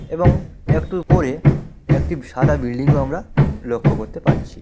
এবং একটু পরে একটি সাদা বিল্ডিং ও আমরা লক্ষ্য করতে পারছি।